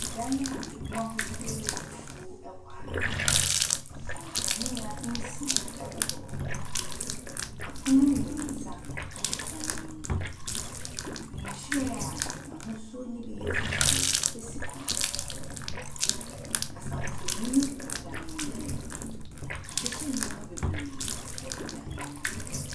Dan bi a ɛmu ahosuo yɛ fufuo wɔ ha. Nkanea bi nsia wɔ hɔ. Apono mmeɛnsa wɔ dan no mu. Nhwiren a n'ahosuo no bi yɛ fufuo si pono baako so. Kasamfonin bɔ dan no ho. Wɔahyehyɛ nneɛma bebree wɔ dan no mu.